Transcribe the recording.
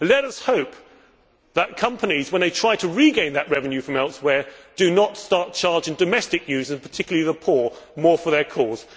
Let us hope that companies, when they try to regain that revenue from elsewhere, do not start charging domestic users and particularly the poor more for their calls.